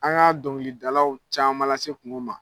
An ka dɔŋilidalaw caaman lase kuŋo ma.